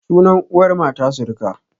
Sunan uwar mata suruka